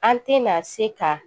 An tɛna se ka